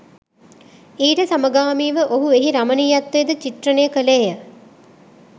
ඊට සමගාමීව ඔහු එහි රමනීයත්වය ද චිත්‍රනය කලේ ය